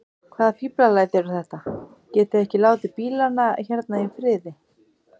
Hvaða fíflalæti eru þetta. getiði ekki látið bílana hérna í friði!